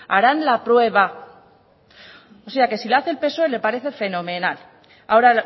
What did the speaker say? harán la prueba o sea que si lo hace el psoe le parece fenomenal ahora